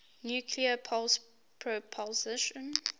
nuclear pulse propulsion